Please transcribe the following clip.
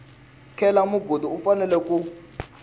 cela mugodi u fanela ku